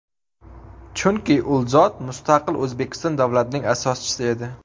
Chunki ul zot mustaqil O‘zbekiston davlatining asoschisi edi.